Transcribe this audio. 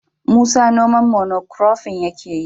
Musa noman mono kurofin yake yi.